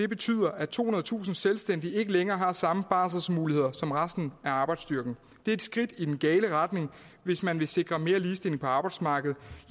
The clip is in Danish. betyder at tohundredetusind selvstændige ikke længere har samme barselsmuligheder som resten af arbejdsstyrken det er et skridt i den gale retning hvis man vil sikre mere ligestilling på arbejdsmarkedet